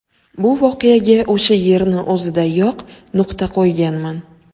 Bu voqeaga o‘sha yerni o‘zidayoq nuqta qo‘yganman.